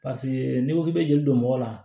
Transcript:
n'i ko k'i bɛ jeli don mɔgɔ la